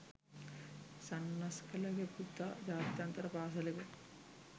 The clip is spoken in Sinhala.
සන්නස්ගලගේ පුතා ජාත්‍යන්තර පාසලක